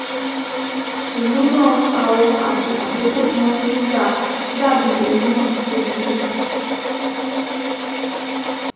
Ìmúná, àwọ̀, àti àkókò tí wọ́n fi ń dà á dàbí omi náà ò ò burú